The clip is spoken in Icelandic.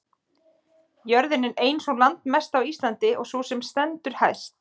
jörðin er ein sú landmesta á íslandi og sú sem stendur hæst